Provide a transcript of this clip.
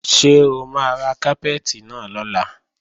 Ṣé o máa ra kápẹ́ẹ̀tì náà lọ́la?